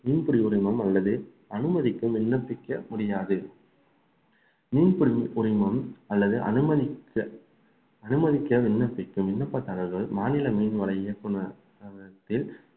மீன்பிடி உரிமம் அல்லது அனுமதிக்கும் விண்ணப்பிக்க முடியாது மீன் பிடிக்கும் ரிமம் அல்லது அனுமதிக்க அனுமதிக்க விண்ணப்பிக்கும் விண்ணப்ப தகவல்கள் மாநில மீன்வள இயக்குனர்